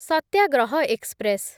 ସତ୍ୟାଗ୍ରହ express